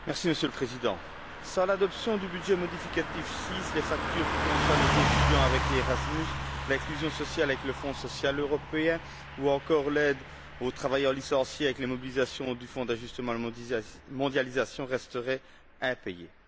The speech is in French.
Monsieur le Président, sans l'adoption du budget modificatif VI, les factures qui concernent les étudiants, avec ERASMUS, l'inclusion sociale, avec le Fonds social européen, ou encore l'aide aux travailleurs licenciés, avec les mobilisations du Fonds d'ajustement à la mondialisation, resteraient impayées.